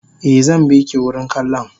Eh zanbiki wurin kallon